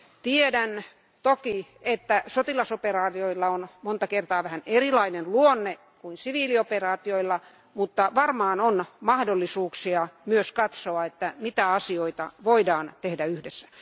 Tiedän toki, että sotilasoperaatioilla on monta kertaa vähän erilainen luonne kuin siviilioperaatioilla, mutta varmaan on mahdollisuuksia myös katsoa, mitä asioita voidaan tehdä yhdessä.